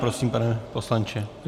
Prosím, pane poslanče.